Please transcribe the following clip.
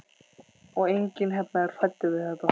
Og enginn hérna er hræddur við þetta.